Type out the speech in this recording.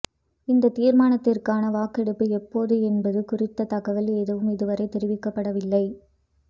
இந்தத் தீர்மானத்திற்கான வாக்கெடுப்பு எப்போது என்பது குறித்த தகவல் ஏதும் இதுவரை தெரிவிக்கப்படவில்லை